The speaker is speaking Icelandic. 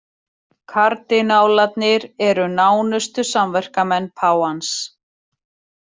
Kardinálarnir eru nánustu samverkamenn páfans